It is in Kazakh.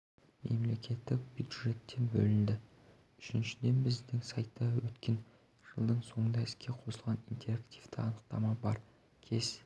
мемлекеттік бюджеттен бөлінеді үшіншіден біздің сайтта өткен жылдың соңында іске қосылған интерактивтік анықтама бар кез